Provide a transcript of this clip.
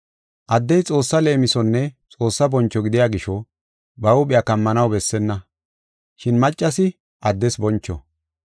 Addey Xoossa leemisonne Xoossa boncho gidiya gisho, ba huuphiya kammanaw bessenna, shin maccasi addes boncho.